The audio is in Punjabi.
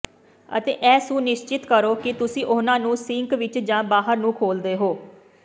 ਅਤੇ ਇਹ ਸੁਨਿਸ਼ਚਿਤ ਕਰੋ ਕਿ ਤੁਸੀਂ ਉਹਨਾਂ ਨੂੰ ਸਿੰਕ ਵਿੱਚ ਜਾਂ ਬਾਹਰ ਨੂੰ ਖੋਲ੍ਹਦੇ ਹੋ